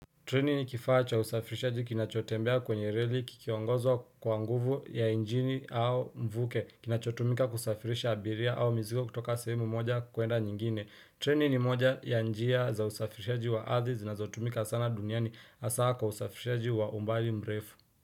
Treni ni kifaa cha usafirishaji kinachotembea kwenye reli kikiongozwa kwa nguvu ya injini au mvuke kinachotumika kusafirisha abiria au mizigo kutoka saimu moja kuenda nyingine. Treni ni moja ya njia za usafirishaji wa arthi zinazotumika sana duniani hasa kwa usafirishaji wa umbali mrefu.